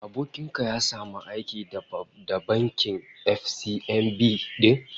Abokin ka ya samu aiki da bankin FCMB din?